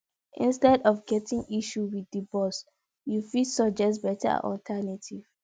instead of getting issue with di boss you fit suggest better alternative